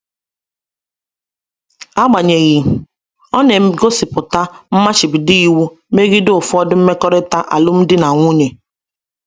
Agbanyeghị, ọ na-egosipụta mmachibido iwu megide ụfọdụ mmekọrịta alụmdi na nwunye.